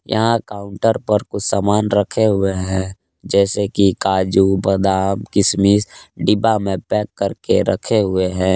यहा काउंटर पर कुछ सामान रखे हुए है जैसे कि काजू बादाम किशमिश डिब्बा मे पैक करके रखे हुए है।